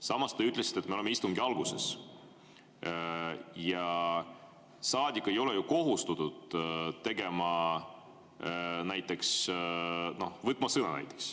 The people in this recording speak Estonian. Samas te ütlesite, et me oleme istungi alguses ja saadik ei ole ju kohustatud näiteks sõna võtma.